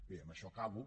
bé amb això acabo